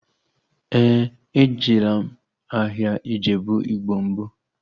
Éè, ejela m ahịa Ijebu igbo mbụ